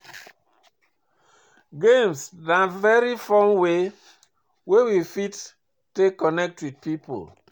Games na very fun way wey we fit take connect with pipo